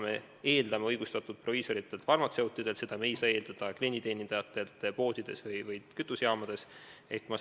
Me eeldame seda õigustatult proviisoritelt ja farmatseutidelt, aga me ei saa seda eeldada poodide või kütusejaamade klienditeenindajatelt.